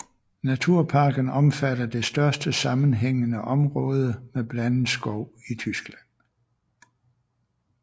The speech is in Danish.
Naturparken omfatter det største sammenhæængende område med blandet skov i Tyskland